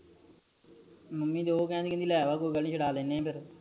mummy ਜੋ ਕੈਂਦੇ ਲੈ ਆ ਕੋ ਗੱਲ ਨੀ ਛੁਡਾ ਲੈਣੇ ਆ ਫਰ